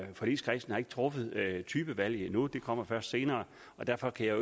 forligskredsen har ikke truffet typevalget endnu det kommer først senere og derfor kan jeg